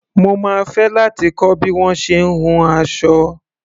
Mo máa fẹ́ láti kọ́ bí wọ́n ṣe ń hun aṣọ.